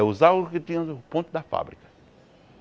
Usaram o que tinha o ponto da fábrica.